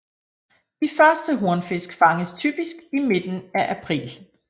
De første hornfisk fanges typisk i midten af april